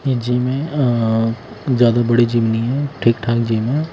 ये जिम है ज्यादा बड़े जिम नहीं है ठीक-ठाक जिम है।